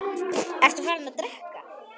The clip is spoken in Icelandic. Ertu farinn að drekka?